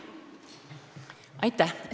Aitäh!